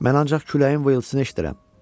Mən ancaq küləyin vızıltısını eşidirəm.